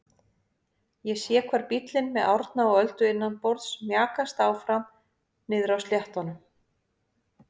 Ég sé hvar bíllinn með Árna og Öldu innanborðs mjakast áfram niðri á sléttunum.